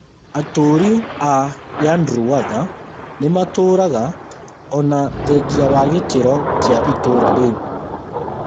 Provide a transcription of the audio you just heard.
Atũũri a Yandruwandha nĩmatũũraga ōna thengia wa gĩkĩro kĩa itũra rĩu